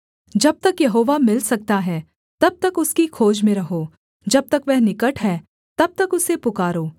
जब तक यहोवा मिल सकता है तब तक उसकी खोज में रहो जब तक वह निकट है तब तक उसे पुकारो